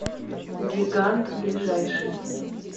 гигант ближайший